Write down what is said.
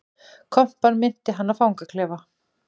Kompan minnti hann á fangaklefa